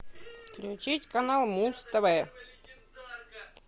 включить канал муз тв